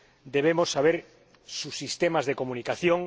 debemos conocer sus sistemas de comunicación